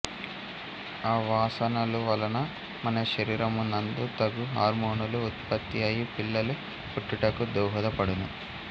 ఆ వాసనలు వలన మన శరీరమునందు తగు హార్మోనులు ఉత్పత్తి అయి పిల్లలు పుట్టుటకు దోహద పడును